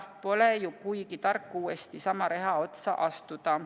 Pole ju kuigi tark uuesti sama reha otsa astuda.